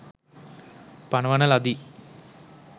පනවන ලදී.